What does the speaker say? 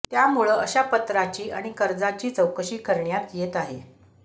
त्यामुळं अशा पत्राची आणि कर्जाची चौकशी करण्यात येत आहे